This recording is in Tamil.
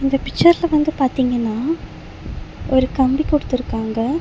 இந்த பிச்சர்ல வந்து பாத்தீங்கனா ஒரு கம்பி குடுத்துருக்காங்க.